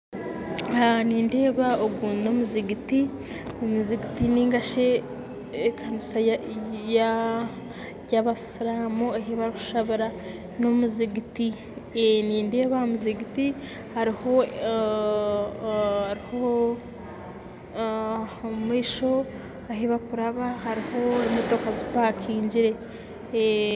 Nindeeba ogu n'omuzigiti nindeeba aha muzigiti omumaisho ahu barikuraba hariho emotoka zipangire.